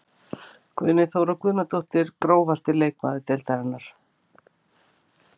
Guðný Þóra Guðnadóttir Grófasti leikmaður deildarinnar?